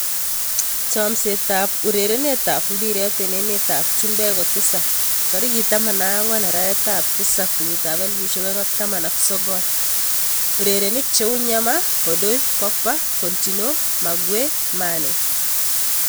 Chomset ab urerenet ab mbiret eng emet ab chumbek kotisap 14.07.2019: Nyemar, Odoi, Pogba, Coutinho, Maguire, Mane